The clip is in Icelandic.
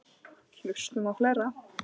Hlustum á fleiri!